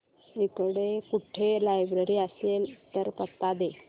इकडे कुठे लायब्रेरी असेल तर पत्ता दे